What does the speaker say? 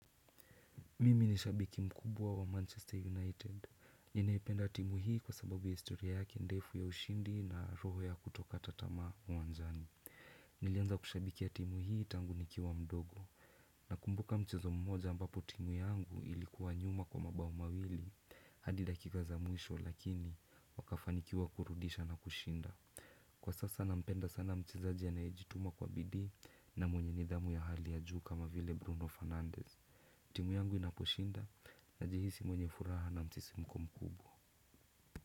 Mimi ni shabiki mkubwa wa Manchester United. Ninaipenda timu hii kwa sababu ya historia yake ndefu ya ushindi na roho ya kutokata tamaa uwanjani. Nilianza kushabikia timu hii tangu nikiwa mdogo. Nakumbuka mchezo mmoja ambapo timu yangu ilikuwa nyuma kwa mabao mawili. Hadi dakika za mwisho lakini wakafanikiwa kurudisha na kushinda. Kwa sasa nampenda sana mchezaji anayejituma kwa bidii na mwenye nidhamu ya hali ya juu kama vile Bruno Fernandez. Timu yangu inaposhinda najihisi mwenye furaha na msisimuko kubwa.